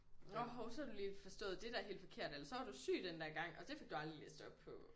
Nåh hov så har du lige forstået det der helt forkert eller så var du syg den der gang og det fik du aldrig læst op på